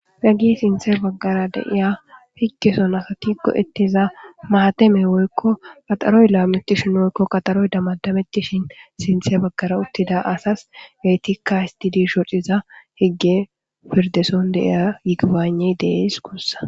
Hegge sinththa bagara diya higgeson go7etiza maateme woykko qaxaroy laametishin woykko qaxaaro damadametishin sinththe bagara utida asas eetikka histidi shocciza hige pirdde son de7iya yigibaynne de7ees guusa.